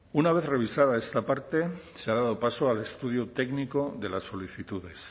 una vez revisada esta parte se ha dado paso al estudio técnico de las solicitudes